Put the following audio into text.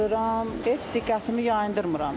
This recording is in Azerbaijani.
Qırıram, heç diqqətimi yayındırmıram.